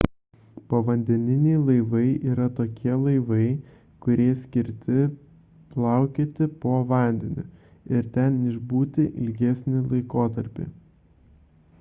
povandeniniai laivai yra tokie laivai kurie skirti plaukioti po vandeniu ir ten išbūti ilgesnį laikotarpį